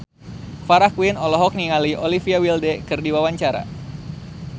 Farah Quinn olohok ningali Olivia Wilde keur diwawancara